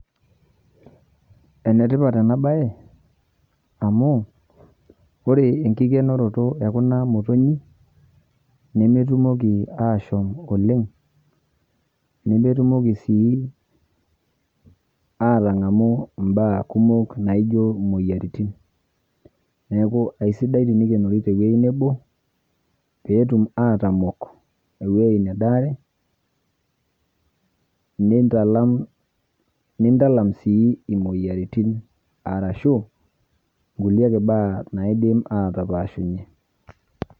Enetipat enabae amu ore enkikenoto ekuna motonyik nemetumoki ashom oleng, nemetumoki sii atangamu mbaa kumok naijo moyiaritin, neaku aisidai tenikenori tewoi nebo petum atamok ewoi nadaare nintalam sii moyiaritin arashu atapashunye.